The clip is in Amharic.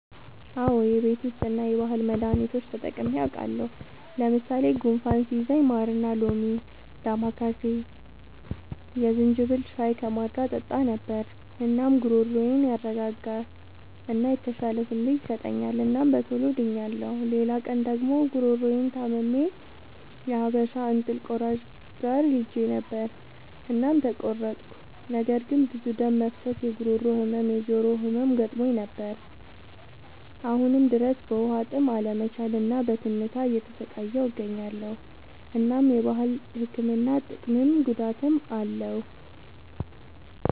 አዎ የቤት ዉስጥ እና የባህል መዳኒቶች ተጠቅሜ አዉቃለሁ። ለምሳሌ፦ ጉንፋን ሲይዘኝ ማርና ሎሚ፣ ዳማከሴ፣ የዝንጅብል ሻይ ከማር ጋር እጠጣ ነበር። እናም ጉሮሮዬን ያረጋጋል እና የተሻለ ስሜት ይሰጠኛል እናም በቶሎ ድኛለሁ። ሌላ ቀን ደግሞ ጉሮሮየን ታምሜ የሀበሻ እንጥል ቆራጭ ጋር ሄጀ ነበር እናም ተቆረጥኩ። ነገር ግን ብዙ ደም መፍሰስ፣ የጉሮሮ ህመም፣ የጆሮ ህመም ገጥሞኝ ነበር። አሁንም ድረስ በዉሀጥም አለመቻል እና በትንታ እየተሰቃየሁ እገኛለሁ። እናም የባህል ህክምና ጥቅምም ጉዳትም አለዉ።